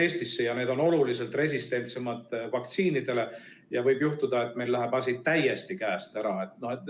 Need on vaktsiini suhtes oluliselt resistentsemad ja võib juhtuda, et meil läheb asi täiesti käest ära.